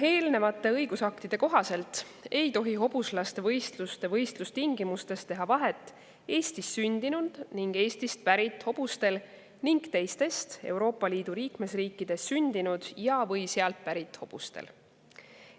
Eelnevate õigusaktide kohaselt ei tohi hobuslaste võistluste võistlustingimustes teha vahet Eestis sündinud või Eestist pärit hobustel ning teistes Euroopa Liidu liikmesriikides sündinud või sealt pärit hobustel.